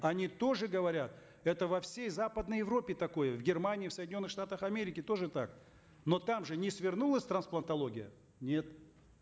они тоже говорят это во всей западной европе такое в германии в соединенных штатах америки тоже так но там же не свернулась трансплантология нет